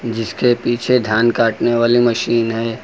जिसके पीछे धान काटने वाली मशीन है।